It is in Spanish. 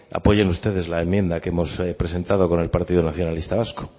apoyen ustedes la enmienda que hemos presentado con el partido nacionalista vasco